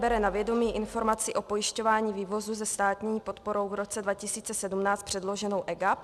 Bere na vědomí Informaci o pojišťování vývozu se státní podporou v roce 2017 předloženou EGAP.